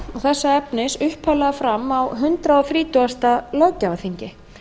þessa efnis upphaflega fram á hundrað þrítugasta löggjafarþingi